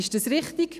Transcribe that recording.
Ist dies richtig?